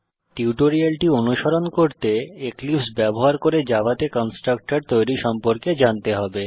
টিউটোরিয়ালটি অনুসরণ করতে এক্লিপসে ব্যবহার করে জাভাতে কন্সট্রাকটর তৈরী সম্পর্কে জানতে হবে